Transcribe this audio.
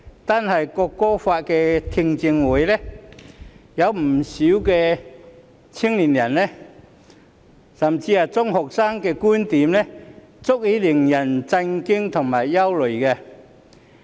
單是在《條例草案》的聽證會上，有不少青年人甚至是中學生的觀點足以令人感到震驚和憂慮。